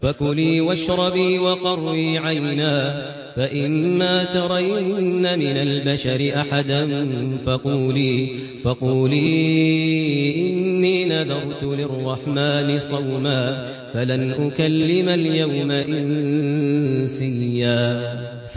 فَكُلِي وَاشْرَبِي وَقَرِّي عَيْنًا ۖ فَإِمَّا تَرَيِنَّ مِنَ الْبَشَرِ أَحَدًا فَقُولِي إِنِّي نَذَرْتُ لِلرَّحْمَٰنِ صَوْمًا فَلَنْ أُكَلِّمَ الْيَوْمَ إِنسِيًّا